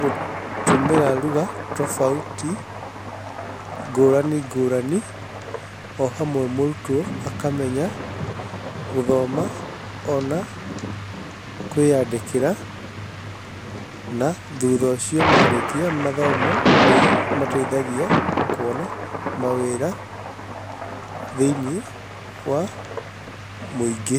gũtũmĩra lugha tofauti ngũrani ngũrani. Ohamwe mũrutwo akamenya gũthoma ona kwĩyandĩkĩra na thutha ũcio marĩkia mathomo nĩmateithagia kuona ma wĩra thĩiniĩ wa mũingĩ.